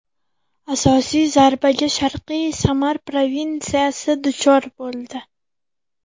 Asosiy zarbaga Sharqiy Samar provinsiyasi duchor bo‘ldi.